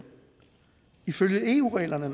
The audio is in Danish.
ifølge eu reglerne